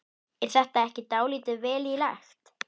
Er þetta ekki dálítið vel í lagt?